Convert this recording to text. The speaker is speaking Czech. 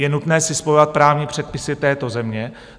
Je nutné si spojovat právní předpisy této země.